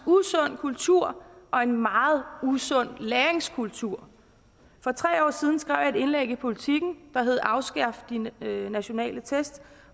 usund kultur og en meget usund læringskultur for tre år siden skrev jeg et indlæg i politiken der hed afskaf de nationale test